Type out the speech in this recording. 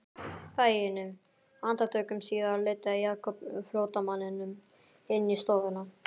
Fáeinum andartökum síðar leiddi Jakob flóttamanninn inn í stofuna.